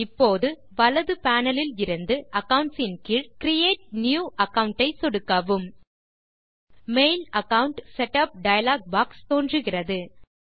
இப்போது வலது பேனல் இலிருந்து அக்கவுண்ட்ஸ் ன் கீழ் கிரியேட் நியூ அகாவுண்ட் ஐ சொடுக்கவும் mail account setup dialog box தோன்றுகிறது